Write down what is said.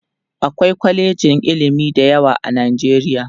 akwai kwalejin ilimi da yawa a nijeriya